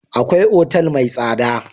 Akwai otal mai tsada.